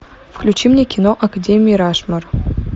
включи мне кино академия рашмор